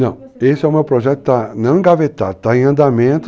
Não, esse é o meu projeto que está, não engavetado, está em andamento,